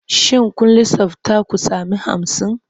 Shin kun lissafta ku sami hamsin?